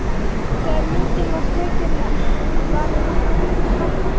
Þegar myndin var tekin var ég flutt til pabba.